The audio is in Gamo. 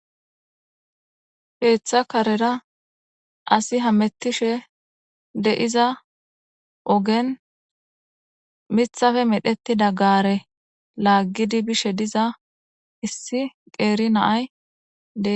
Keeththa karera asi hamettishe de7iza ogen mithafe medheti daggare laaggidi bishe diza issi qeeri naaydee